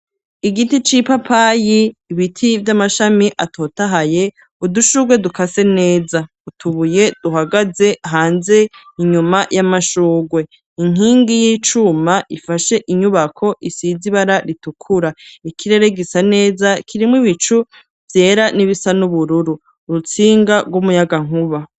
Igiti c'ipapayi ibiti vy'amashami atotahaye udushugwe dukase neza utubuye duhagaze hanze inyuma y'amashurwe inkingi y'icuma ifashe inyubako isize ibara ritukura ikirere gisa neza kirimwo ibicu vyera n'ibisa n'ubururu urutsinga rw'umuyaga nkuba.